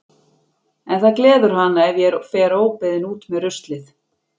En það gleður hana ef ég fer óbeðin út með ruslið.